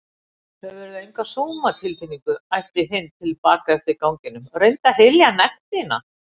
Hefurðu enga sómatilfinningu? æpti Hind til baka eftir ganginum, reyndu að hylja nekt þína